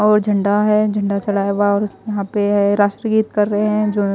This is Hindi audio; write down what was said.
और झंडा है झंडा चलाए यहां पे राष्ट्रगीत कर रहे है जो--